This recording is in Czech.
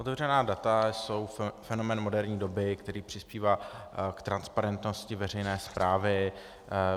Otevřená data jsou fenomén moderní doby, který přispívá k transparentnosti veřejné správy.